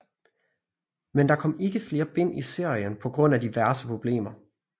Men der kom ikke flere bind i serien på grund af diverse problemer